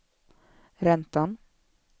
räntan